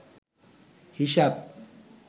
হিসাব